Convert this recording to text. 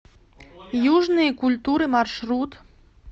южные культуры маршрут